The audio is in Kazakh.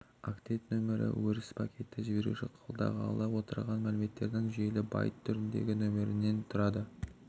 октет нөмірі өрісі пакетті жіберуші қабылдағалы отырған мәліметтердің жүйелі байт түріндегі нөмірінен тұрады